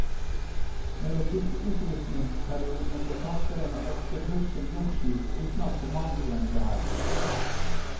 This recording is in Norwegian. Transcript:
Mellom disse utrustningsperiodene ble fartøyet ofte brukt som losjiskip uten at kommando ble heist.